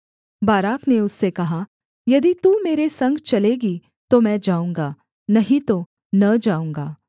Barak ने उससे कहा यदि तू मेरे संग चलेगी तो मैं जाऊँगा नहीं तो न जाऊँगा